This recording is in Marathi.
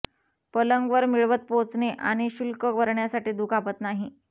पलंग वर मिळवत पोहचणे आणि शुल्क करण्यासाठी दुखापत नाही